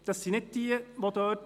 Insgesamt haben Sie aber 69.